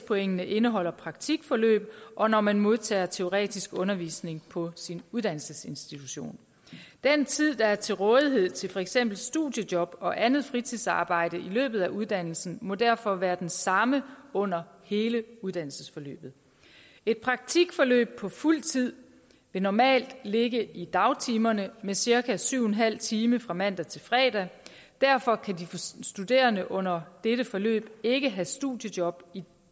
pointene indeholder praktikforløb og når man modtager teoretisk undervisning på sin uddannelsesinstitution den tid der er til rådighed til for eksempel studiejob og andet fritidsarbejde i løbet af uddannelsen må derfor være den samme under hele uddannelsesforløbet et praktikforløb på fuld tid vil normalt ligge i dagtimerne med cirka syv en halv time fra mandag til fredag derfor kan de studerende under dette forløb ikke have studiejob i